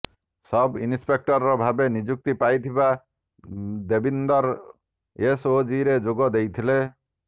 ସବ୍ inspector ଭାବେ ନିଯୁକ୍ତି ପାଇଥିବା ଦେବିନ୍ଦର ଏସଓଜିରେ ଯୋଗ ଦେଇଥିଲେ